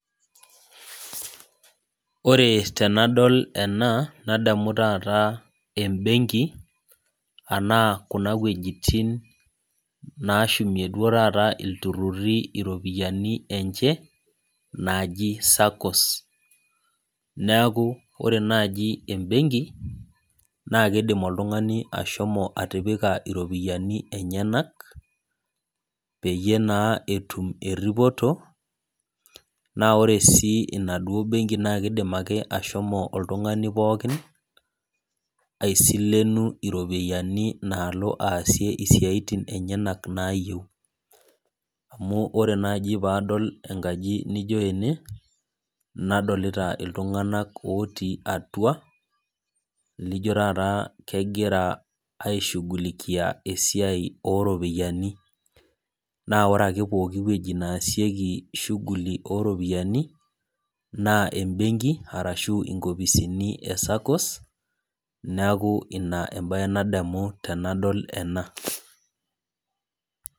Ore tenadol ena, nadamu taata ebenki, anaa kuna wuejiting nashumie duo taata ilturrurri iropiyiani enche, naaji SACCOs. Neeku ore naji ebenki, naa kidim oltung'ani ashomo atipika iropiyiani enyanak, peyie naa etum erripoto, naa ore si inaduo benki na kidim ake ashomo oltung'ani pookin, aisilenu iropiyiani naalo aasie isiaitin enyanak naayieu. Amu ore naji padol enkaji nijo ene, nadolita iltung'anak otii atua, lijo taata kegira ai shughulikia esiai oropiyiani. Na ore ake pooki woji nesieki shughuli oropiyiani, naa ebenki arashu inkopisini e SACCOs, neeku ina ebae nadamu tenadol ena.